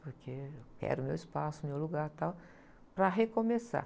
Porque eu quero meu espaço, meu lugar e tal, para recomeçar.